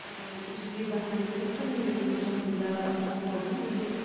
ыыы жиі барған емеспін мен осы жақында оқып алдым өзім